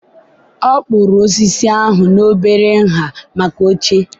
ọ kpụrụ osisi ahụ n'obere nha maka oche.